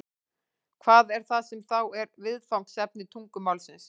hvað er það sem þá er viðfangsefni tungumálsins